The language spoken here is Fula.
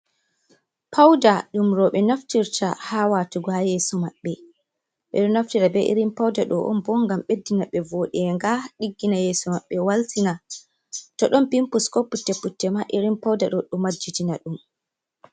Pauda ɗum rooɓe naftirta, haa watugo haa yeeso maɓɓe, ɓeɗo naftira be irin Pauda ɗo on bo ngam ɓeddina ɓe voodenga, ɗiggina yeeso maɓɓe waltina, to ɗon pimpus ko putte putte ma irin pauda ɗo ɗo majjitina ɗum.